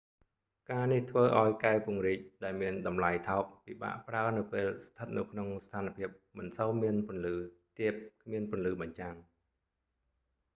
ការនេះធ្វើឱ្យកែវពង្រីកដែលមានតម្លៃថោកពិបាកប្រើនៅពេលស្ថិតនៅក្នុងស្ថានភាពមិនសូវមានពន្លឺទាបគ្មានពន្លឺបញ្ចាំង